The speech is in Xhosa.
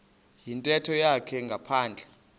yintetho yakhe ngaphandle